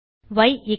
ய் 5